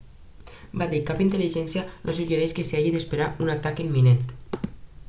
va dir cap intel·ligència no suggereix que s'hagi d'esperar un atac imminent